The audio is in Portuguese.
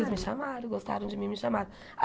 Eles me chamaram, gostaram de mim, me chamaram.